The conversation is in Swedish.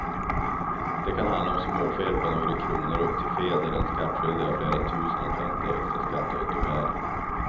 Det kan handla om småfel på några kronor upp till fel där den skattskyldige har flera tusen att vänta i extra skatteåterbäring.